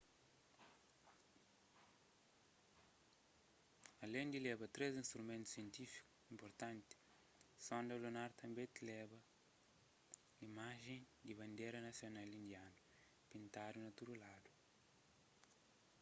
alén di leba três instrumentu sientífiku inpurtanti sonda lunar tanbê tleba imajen di bandera nasional indianu pintadu na tudu ladu